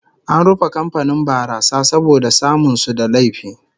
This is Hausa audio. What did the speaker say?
An rufe kamfanin barasa saboda samun su da laifi